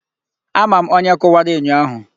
Ama m onye kụwara enyo ahụ.